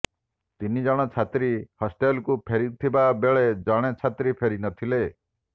ତିନି ଜଣ ଛାତ୍ରୀ ହଷ୍ଟେଲ୍କୁ ଫେରିଥିବା ବେଳେ ଜଣେ ଛାତ୍ରୀ ଫେରି ନଥିଲେ